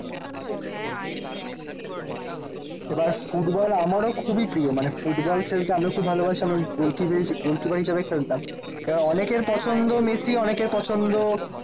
এবার ফুটবল আমারও খুবই প্রিয় মানে ফুটবল খেলতে আমিও খুব ভালোবাসি আমি গোলকীপার হিসেবে খেলতাম। এবার অনেকের পছন্দ মেসি। অনেকের পছন্দ